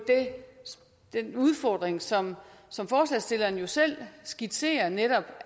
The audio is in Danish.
den udfordring som som forslagsstillerne jo selv skitserer nemlig